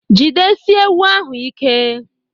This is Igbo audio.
Jidesie ewu ahụ ike!